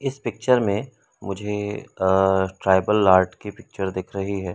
इस पिक्चर में मुझे अ ट्राइबल आर्ट की पिक्चर दिख रही है।